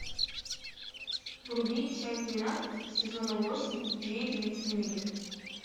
вруби часть двенадцать сезона восемь две девицы на мели